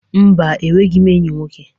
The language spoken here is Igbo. Mba, enweghi m enyi nwoke.